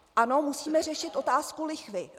Ano, musíme řešit otázku lichvy.